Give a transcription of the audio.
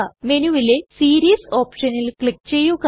മെനുവിലെ series ഓപ്ഷനിൽ click ചെയ്യുക